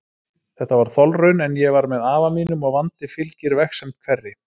Þetta var þolraun, en ég var með afa mínum og vandi fylgir vegsemd hverri.